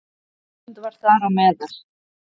Ísland var þar á meðal.